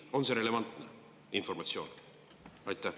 On see relevantne informatsioon?